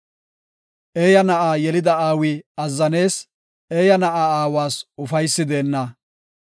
Eeyaa na7a yelida aawi azzanees; eeya na7a aawas ufaysi deenna.